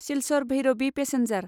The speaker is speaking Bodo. सिलचर भैरबि पेसेन्जार